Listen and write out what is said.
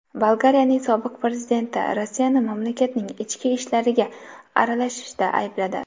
Bolgariyaning sobiq prezidenti Rossiyani mamlakatning ichki ishlariga aralashishda aybladi.